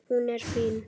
Hún er fín.